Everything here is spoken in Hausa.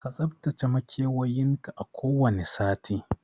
Ka tsaftace makewayin ka a kowane sati